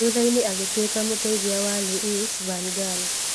Thutha-inĩ agĩtuĩka mũteithia wa Louis van Gaal.